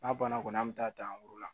N'a banna kɔni an bɛ taa dan ra